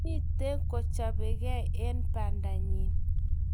kimito kochabege eng bandanyi